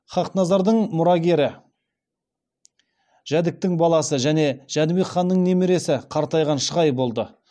хақназардың мұрагері жәдіктің баласы және жәнібек ханның немересі қартайған шығай болды